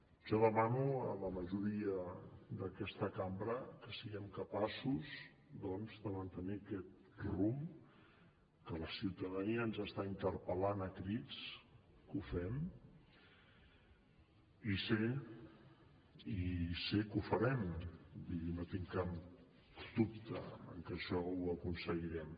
jo demano a la majoria d’aquesta cambra que siguem capaços doncs de mantenir aquest rumb que la ciutadania ens està interpel·lant a crits que ho fem i sé que ho farem vull dir no tinc cap dubte que això ho aconseguirem